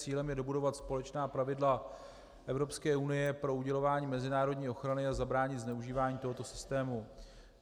Cílem je dobudovat společná pravidla Evropské unie pro udělování mezinárodní ochrany a zabránit zneužívání tohoto systému.